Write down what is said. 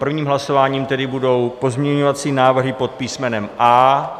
Prvním hlasováním tedy budou pozměňovací návrhy pod písmenem A.